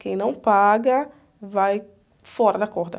Quem não paga vai fora da corda.